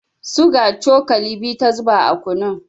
Suga cokali biyu ta zuba a kunun.